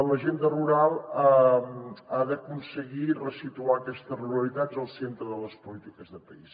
l’agenda rural ha d’aconseguir ressituar aquestes ruralitats al centre de les polítiques de país